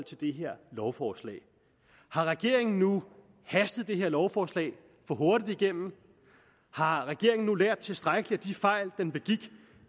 til det her lovforslag har regeringen nu hastet det her lovforslag for hurtigt igennem har regeringen nu lært tilstrækkeligt af de fejl man begik